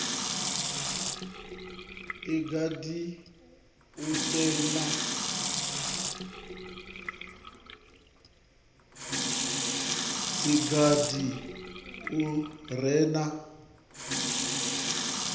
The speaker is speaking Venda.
si gathi u re na